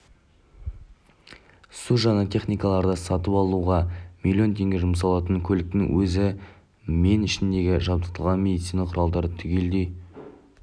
су жаңа техникаларды сатып алуға миллион теңге жұмсалған көліктің өзі мен ішіндегі жабдықталған медицина құралдары түгелдей